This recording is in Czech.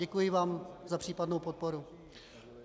Děkuji vám za případnou podporu.